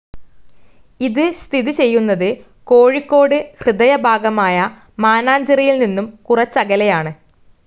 ഇത് സ്ഥിതി ചെയ്യുന്നത് കോഴിക്കോട് ഹൃദയഭാഗമായ മാനാഞ്ചിറയിൽ നിന്നും കുറച്ചകലെയാണ്.